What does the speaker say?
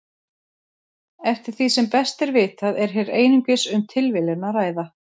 Eftir því sem best er vitað er hér einungis um tilviljun að ræða.